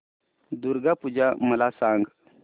दुर्गा पूजा मला सांग